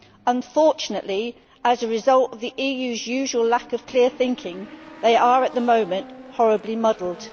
Unfortunately, as a result of the EU's usual lack of clear thinking, they are at the moment horribly muddled.